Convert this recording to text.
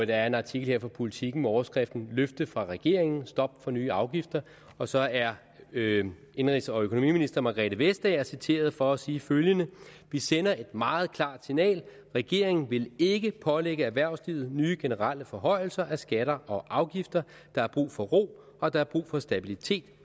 der er en artikel her fra politiken med overskriften løfte fra regeringen stop for nye afgifter og så er indenrigs og økonomiminister margrethe vestager citeret for at sige følgende vi sender et meget klart signal regeringen vil ikke pålægge erhvervslivet nye generelle forhøjelser af skatter og afgifter der er brug for ro og der er brug for stabilitet